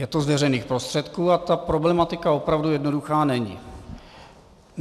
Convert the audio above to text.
Je to z veřejných prostředků a ta problematika opravdu jednoduchá není.